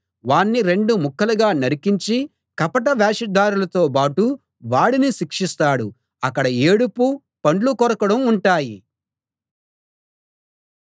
వాణ్ణి రెండు ముక్కలుగా నరికించి కపట వేషధారులతో బాటు వాడిని శిక్షిస్తాడు అక్కడ ఏడుపూ పండ్లు కొరకడమూ ఉంటాయి